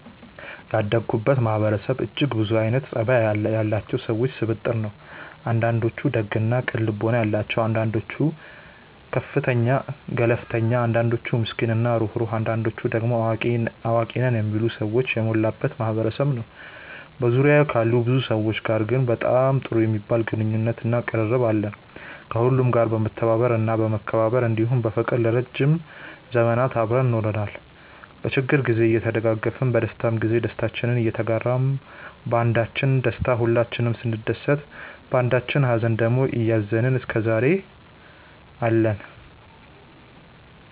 ያደኩበት ማህበረሰብ እጅግ ብዙ አይነት ፀባይ ያላቸው ሰዎች ስብጥር ነው። አንዳንዶቹ ደግ እና ቅን ልቦና ያላቸው አንዳንዶቹ ገለፍተኛ አንዳንዶቹ ምስኪን እና ሩህሩህ አንዳንዶቹ ደሞ አዋቂ ነን የሚሉ ሰዎች የሞሉበት ማህበረሰብ ነበር። በዙሪያዬ ካሉ ብዙ ሰዎች ጋር ግን በጣም ጥሩ የሚባል ግንኙነት እና ቅርርብ አለን። ከሁሉም ጋር በመተባበር እና በመከባበር እንዲሁም በፍቅር ለረዥም ዘመናት አብረን ኖረናል። በችግር ግዜ እየተደጋገፍን በደስታም ግዜ ደስታችንን እየተጋራን ባንዳችን ደስታ ሁላችንም ስንደሰት ባንዳችኝ ሃዘን ደግሞ እያዘንን እስከዛሬ አለን።